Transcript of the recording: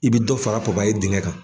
I bi dɔ fara dingɛ kan.